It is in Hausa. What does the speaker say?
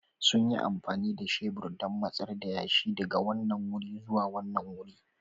Sun yi amfani da shebur don matsar da yashi daga wannan wuri zuwa wani wuri.